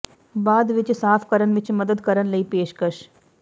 ਬਾਅਦ ਵਿੱਚ ਸਾਫ ਕਰਨ ਵਿੱਚ ਮਦਦ ਕਰਨ ਲਈ ਪੇਸ਼ਕਸ਼